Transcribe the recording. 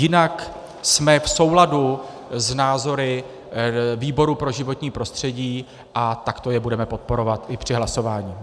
Jinak jsme v souladu s názory výboru pro životní prostředí a takto je budeme podporovat i při hlasování.